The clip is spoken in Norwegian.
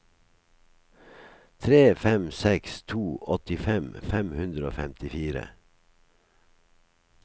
tre fem seks to åttifem fem hundre og femtifire